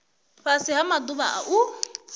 fhasi ha maḓuvha a u